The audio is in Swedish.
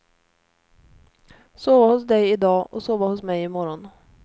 Sova hos dig i dag och sova hos mig i morgon.